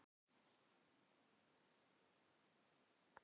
Þegar ég kom í símann kynnti Kristján Pétursson sig.